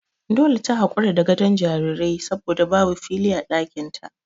Dole ta hakura da gadon jaririn saboda babu fili a ɗakin ta.